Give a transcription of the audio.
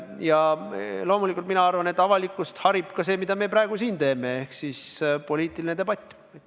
Ja loomulikult mina arvan, et avalikkust harib ka see, mida me praegu siin teeme, ehk siis poliitiline debatt.